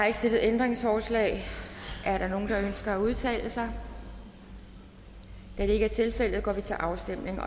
ikke stillet ændringsforslag er der nogen der ønsker at udtale sig da det ikke er tilfældet går vi til afstemning